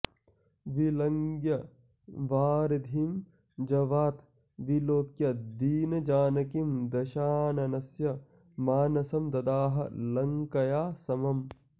विलङ्घ्य वारिधिं जवात् विलोक्य दीनजानकीं दशाननस्य मानसं ददाह लङ्कया समम्